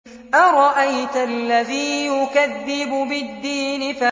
أَرَأَيْتَ الَّذِي يُكَذِّبُ بِالدِّينِ